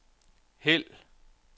hæld